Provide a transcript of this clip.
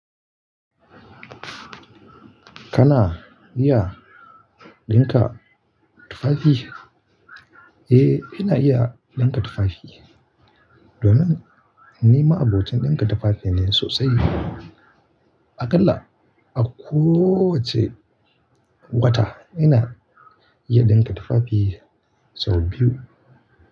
Kana iya dinka tufafi? Eh, ina iya dinka tufafi. Domin ni ma'abocin dinka tufafi ne sosai. Akalla a kowacce wata ina iya dinka tufafi sau biyu.